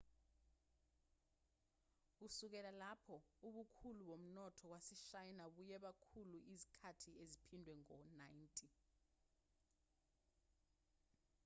kusukela lapho ubukhulu bomnotho waseshayina buye bakhula izikhathi eziphindwe ngo-90